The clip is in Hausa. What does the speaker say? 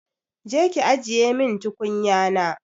Je ki ajiye min tukunyana!